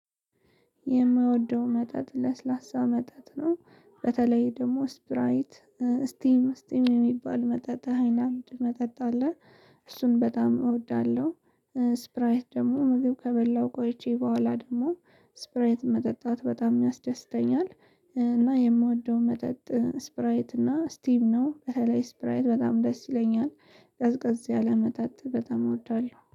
የምወደው መጠጥ ለስላሳ መጠጥ ነው በተለይ ደግሞ ስፕራይት ስቲም ስቲም የሚባል መጠጣጥ መጠጥ አለ እሱን በጣም እወዳለሁ። ስፕራይት ደግሞ ምግብ ከበሁ ቆይቼ በኋላ ደግሞ ስፕራይት መጠጣት በጣም ያስደስተኛል። እና የምወደው መጠጥ ስፕራይት እና ስቲም ነው በተለይ ስፕራይት በጣም ደስ ይለኛል። ቀዝቀዝ ያለ መጠጥ በጣም እወዳለሁ